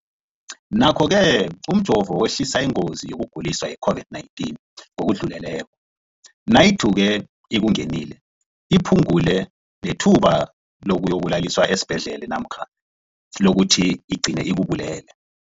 Nokho-ke umjovo wehlisa ingozi yokuguliswa yi-COVID-19 ngokudluleleko, nayithuke ikungenile, iphu ngule nethuba lokuyokulaliswa esibhedlela namkha lokuthi igcine ikubulele.